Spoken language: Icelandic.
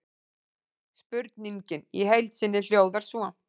Spurningin í heild sinni hljóðar svo: